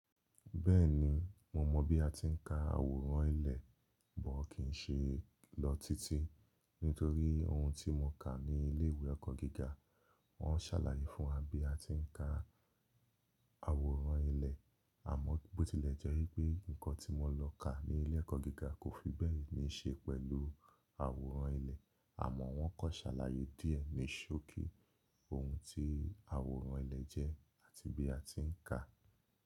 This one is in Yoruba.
Bẹ́ẹ̀ni, mo mọ bí a ti ń ka àwòrán ilẹ̀, bọ̀ kì í ṣe lọ títí nítorí ohun tí mo kà ní ilé ìwé ẹ̀kọ́ gíga, wọ́n sàlàyé fún wa bí a ti ń ka àwòrán ilẹ̀, àmọ́ bó tilẹ̀ jẹ́ pé nǹkan tí mo lọ kà ní ilé ẹ̀kọ́ gíga kò fi bẹ́ẹ̀ ní ṣe pẹ̀lú àwòrán ilẹ̀, àmọ́ wọ́n kàn sàlàyé díẹ̀ ní ṣókí ohun tí àwòrán ilẹ̀ jẹ́ àti bí a ti ń kà á.